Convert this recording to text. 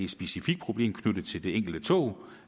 specifikt problem knyttet til det enkelte tog